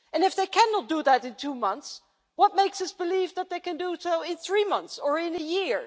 And if they cannot do that in two months, what makes us believe they can do it in three months or in a year?